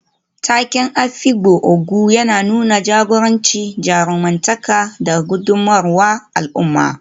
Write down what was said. Taken Afikpo Ogo yana nuna jagoranci, jarumtaka, da gudummawar al'umma.